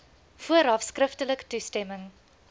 vooraf skriftelik toestemming